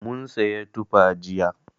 Mun siyi tufa jiya.